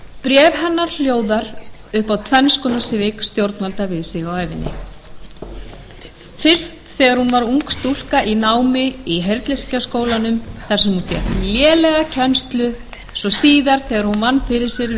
bréf hennar hljóðar upp á tvenn svik stjórnvalda við sig á ævinni fyrst þegar hún var ung stúlka í námi í heyrnleysingjaskólanum þar sem hún fékk lélega kennslu svo síðar þegar hún vann fyrir sér við